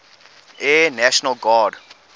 air national guard